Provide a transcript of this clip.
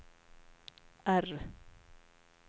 R